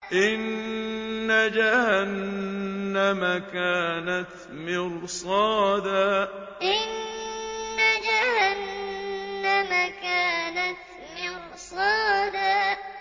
إِنَّ جَهَنَّمَ كَانَتْ مِرْصَادًا إِنَّ جَهَنَّمَ كَانَتْ مِرْصَادًا